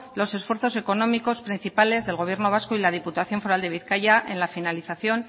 los esfuerzos económicos principales del gobierno vasco y de la diputación foral de bizkaia en la finalización